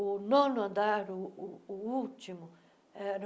O nono andar, o o o último, era...